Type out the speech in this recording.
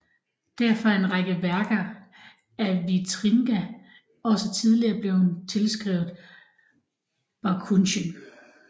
Derfor er en række værker af Vitringa også tidligere blevet tilskrevet Bakhuizen